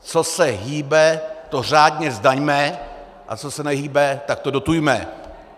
Co se hýbe, to řádně zdaňme, a co se nehýbe, tak to dotujme.